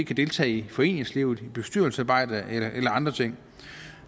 kan deltage i foreningslivet bestyrelsesarbejde eller andre ting